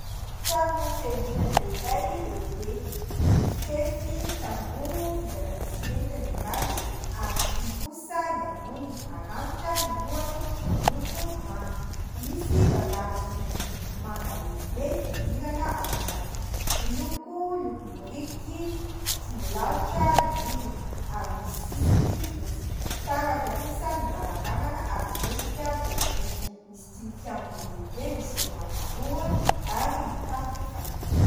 Trano fiangonana iray lehibe. Mifefy tamboho, vita avy amin'ny simenitra ny ambany, ary vy kosa ny amboniny (maranitra ny lohany, miloko manga). Misy vavahady vy, miloko manga lehibe, fidirana ao anatiny. Miloko lokom-biriky tsy milalotra ny rindrina, ary misy sisiny fotsy. Fitaratra kosa ny varavarana, ary miendrika borobory. Misy tilikambo lehibe, misy rihana roa, ary mitafo fanintso.